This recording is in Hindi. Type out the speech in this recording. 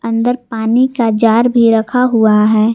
अंदर पानी का जार भी रखा हुआ है।